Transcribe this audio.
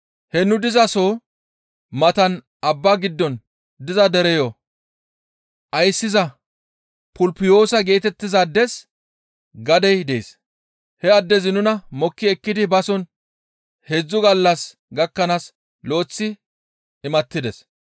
He nu dizaso matan abbaa giddon diza dereyo ayssiza Pupulyoosa geetettizaades gadey dees; he addezi nuna mokki ekkidi bason heedzdzu gallas gakkanaas lo7eththi imattides.